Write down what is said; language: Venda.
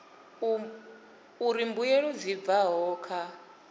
uri mbuelo dzi bvaho kha